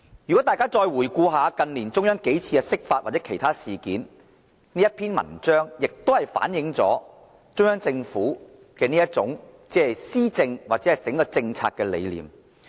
如果大家再回顧近年中央幾次釋法或其他事件，這篇文章也反映了中央政府施政或政策的整體理念。